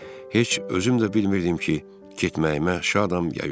Heç özüm də bilmirdim ki, getməyimə şadam ya yox.